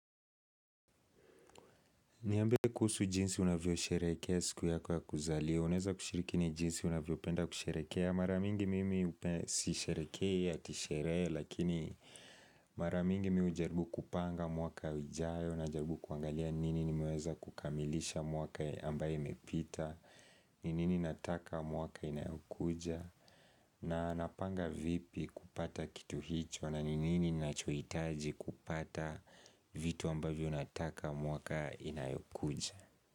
Niambie kuhusu jinsi unavyosherekea siku yakonya kuzaliwa Unaeza kushirikini jinsi unavyopenda kusherekea Mara mingi mimi upe sisherekei ati sheree Lakini mara mingi mi hujaribu kupanga mwaka ijayo najaribu kuangalia nini nimeweza kukamilisha mwaka ambaye imepita ni nini nataka mwaka inayokuja na napanga vipi kupata kitu hicho na ni nini ninachoitaji kupata vitu ambavyo nataka mwaka inayokuja.